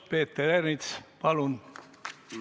Peeter Ernits, palun!